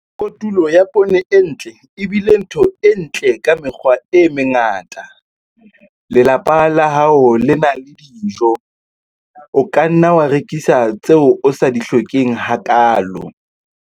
Kotulo ya poone e ntle e bile ntho e ntle ka mekgwa e mengata - lelapa la hao le na le dijo. O ka nna wa rekisa tseo o sa di hlokeng hakaalo.